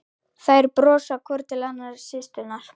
Þær brosa hvor til annarrar, systurnar.